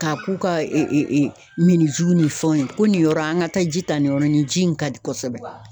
K'a k'u ka minzuw ni fɛnw ye, ko nin yɔrɔ an ka taa ji ta nin yɔrɔ nin ji in ka di kosɛbɛ.